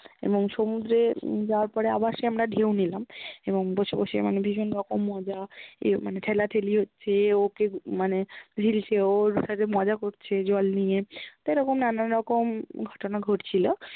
এবং সমুদ্রে যাওয়ার পরে আবার সে আমরা ঢেউ নিলাম এবং বসে বসে মানে ভীষণ রকম মজা এ- মানে ঠেলা-ঠেলি হচ্ছে, ও-ওকে মানে ও ওর সাথে মজা করছে জল নিয়ে, তো এরখ্ম নানান রকম ঘ্ট্না ঘ্ট্ছিল